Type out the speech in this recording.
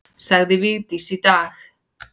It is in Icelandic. Sagði Vigdís í dag.